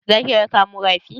Za ki raka mu rafi?